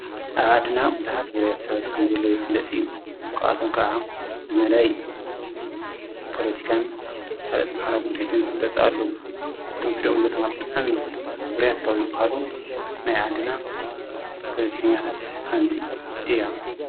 ኣብ ኣድና ብዙኃት ውርያት ሰኣጥከም ዘለ ይትለጢ ኳኣቶም ከዓ ብመዳይ ጶለቲካን ካልት ምሃራ ጕዳይትን ዝፍለጽ ኣለዉ እቶም ትልኦም ዘሎማ ኣብጥኣሚ ውርያት ካብ ዝበሃሉ ናይ ዓድና ጶለቲኮኛታት ሓንቲ እያ።